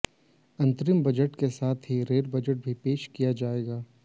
अंतरिम बजट के साथ ही रेल बजट भी पेश किया जाएगा